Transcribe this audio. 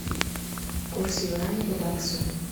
курс юаня к баксу